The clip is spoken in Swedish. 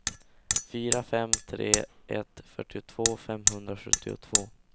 fyra fem tre ett fyrtiotvå femhundrasjuttiotvå